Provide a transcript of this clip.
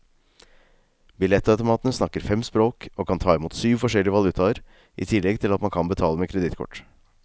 Billettautomatene snakker fem språk, og kan ta imot syv forskjellige valutaer i tillegg til at man kan betale med kredittkort.